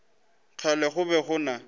kgale go be go na